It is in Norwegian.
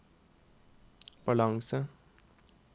balanse